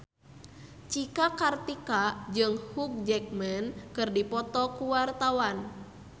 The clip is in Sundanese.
Cika Kartika jeung Hugh Jackman keur dipoto ku wartawan